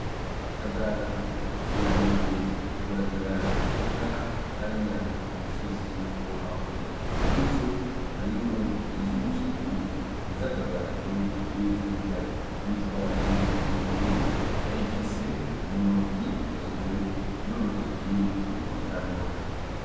Kagaju yagiye kuragira inka hariya ku musozi wo hakurya muri zo harimwo izo umufyiri iza akagaju n'iza igitare yitwaje inkoni ayifise mu ntoki yashize nuurutoki mu kanwa.